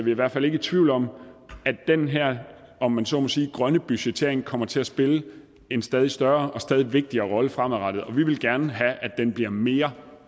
i hvert fald ikke i tvivl om at den her om man så må sige grønne budgettering kommer til at spille en stadig større og stadig vigtigere rolle fremadrettet og vi vil gerne have at den bliver mere